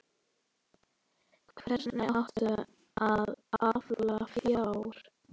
Hvernig átti að afla fjár?